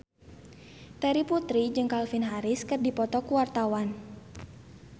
Terry Putri jeung Calvin Harris keur dipoto ku wartawan